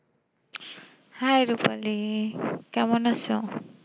hii Rupali কেমন আছো?